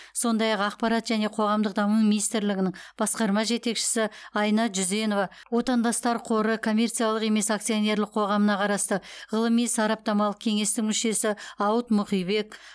сондай ақ ақпарат және қоғамдық даму министрлігінің басқарма жетекшісі айна жүзенова отандастар қоры коммерциялық емес акционерлік қоғамына қарасты ғылыми сараптамалық кеңестің мүшесі ауыт мұқибек